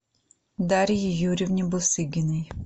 дарье юрьевне бусыгиной